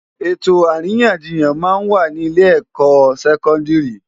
Etó árinyánjiyán má n wá ni ilé èkò sèkòndiri